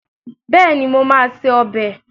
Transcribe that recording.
Bẹ́ẹ̀ni, mo máa se ọbẹ̀